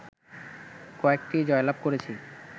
কয়েকটি জয়লাভ করেছি